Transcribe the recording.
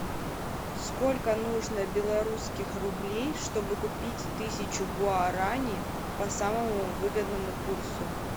сколько нужно белорусских рублей чтобы купить тысячу гуарани по самому выгодному курсу